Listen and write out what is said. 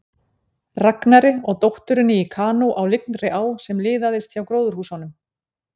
Ragnari og dótturinni í kanó á lygnri á sem liðaðist hjá gróðurhúsunum.